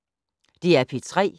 DR P3